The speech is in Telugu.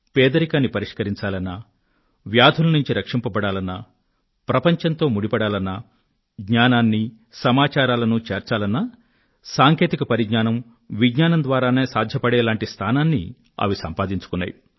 పేదరికాన్ని పరిష్కరించాలన్నా వ్యాధుల నుండి రక్షింపబడాలన్నా ప్రపంచంతో ముడిపడాలన్నా జ్ఞానాన్నీ సమాచారాలనూ చేర్చాలన్నా సాంకేతికత విజ్ఞానం ద్వారానే సాధ్యపడేటటువంటి స్థానాన్ని అవి సంపాదించుకున్నాయి